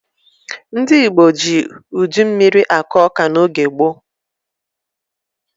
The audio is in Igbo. Ndị ji udu mmiri akụ ọka n'oge gboo.